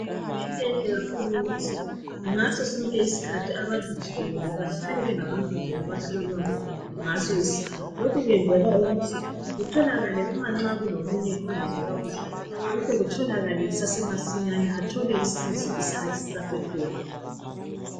kuyinto enhle kakhulu ukuthi ngaso sonke isikhathi abantu jikelele behlale bengabantu abahlolwayo ngaso sonke isikhathi lokhu kwenzela ukuthi kutholakale nxa kulomunye ongezwa kakuhle, kuhle kutholakale kusase masinyane athole usizo isikhathi sisase khona